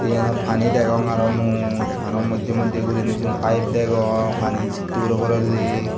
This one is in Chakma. eyenot paani degong aro mui aro moddey moddey guriney sigun pipe degong paaniyen sittey uri porelli.